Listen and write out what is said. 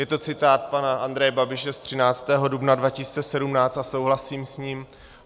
Je to citát pana Andreje Babiše z 13. dubna 2017 a souhlasím s ním.